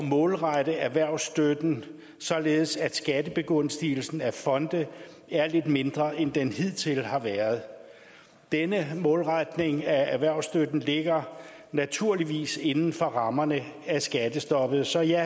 målrette erhvervsstøtten således at skattebegunstigelsen af fonde er lidt mindre end den hidtil har været denne målretning af erhvervsstøtten ligger naturligvis inden for rammerne af skattestoppet så ja